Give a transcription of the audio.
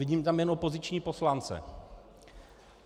Vidím tam jen opoziční poslance.